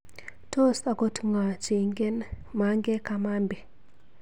Tos akot ng'o cheingen Mange Kamambi?